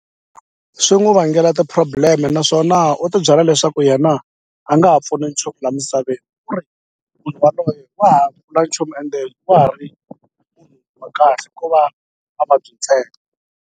Swi n'wu vangela ti-problem naswona u tibyela leswaku yena a nga ha pfuni nchumu la misaveni ku ri munhu yaloye wa ha vula nchumu ende wa ha ri munhu wa kahle ko va mavabyi ntsena.